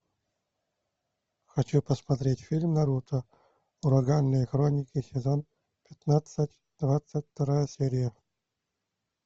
хочу посмотреть фильм наруто ураганные хроники сезон пятнадцать двадцать вторая серия